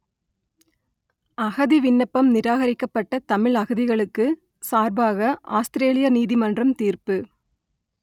அகதி விண்ணப்பம் நிராகரிக்கப்பட்ட தமிழ் அகதிகளுக்கு சார்பாக ஆத்திரேலிய நீதிமன்றம் தீர்ப்பு